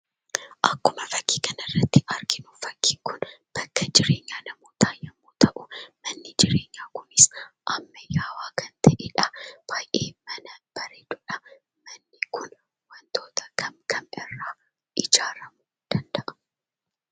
Akkuma fakkii kana irratti arginu fakkiin kun bakka jireenya namootaa yemmuu ta'u, manni jireenyaa kunis ammayyaawaa kan ta'eedha. Baay'ee mana bareeduudha. Manni kun wantoota kam kam irraa ijaaramuu danda'a?